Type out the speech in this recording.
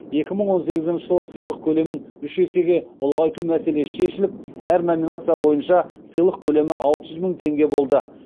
екі мың он сегізінші жылы сыйлық көлемін үш есеге ұлғайту мәселесі шешіліп әр номинация бойынша сыйлық көлемі алты жүз мың теңге болды